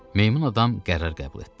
Meymun adam qərar qəbul etdi.